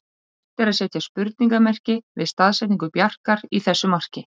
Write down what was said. Vert er að setja spurningarmerki við staðsetningu Bjarkar í þessu marki.